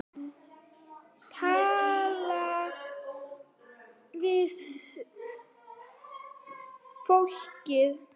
Tala við fólkið.